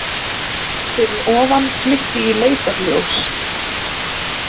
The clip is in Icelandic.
Fyrir ofan glitti í leitarljós.